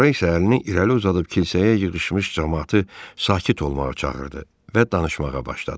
Sonra isə əlini irəli uzadıb kilsəyə yığışmış camaatı sakit olmağa çağırdı və danışmağa başladı.